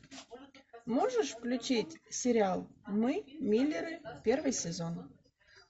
можешь включить сериал мы миллеры первый сезон